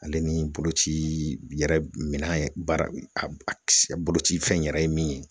Ale ni boloci yɛrɛ minan ye , baara, a a kisɛ, boloci fɛn yɛrɛ ye min ye